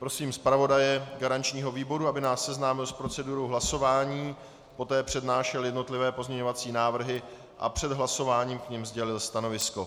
Prosím zpravodaje garančního výboru, aby nás seznámil s procedurou hlasování, poté přednášel jednotlivé pozměňovací návrhy a před hlasováním k nim sdělil stanovisko.